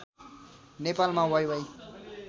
नेपालमा वाइवाइ